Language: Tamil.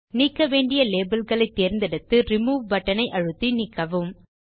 நீக்க வேண்டிய labelகளை தேர்ந்தெடுத்து ரிமூவ் பட்டன் ஐ அழுத்தி நீக்கவும்